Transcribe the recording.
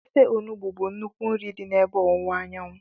Ofe onugbu bụ nnukwu nri dị n'ebe ọwụwa anyanwụ.